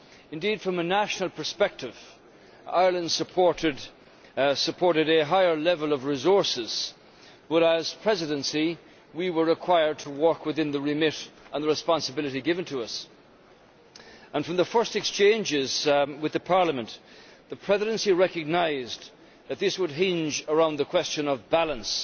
Indeed, from a national perspective Ireland supported a higher level of resources, but as the Presidency we were required to work within the remit and the responsibility given to us. From the first exchanges with Parliament, the Presidency recognised that this would hinge around the question of balance